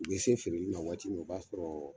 U be se feereli ma waati min na o b'a sɔrɔ